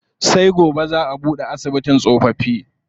Sai gobe zaa a buɗe asibitin tsofaffi.